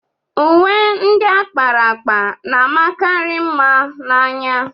Uwe ndị a kpara akpa na-amakarị mma n'anya.